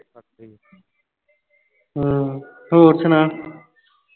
ਹੁ ਹੋਰ ਸੁਣਾਓ